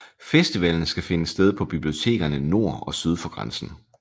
Festivallen skal finde sted på bibliotekerne nord og syd for grænsen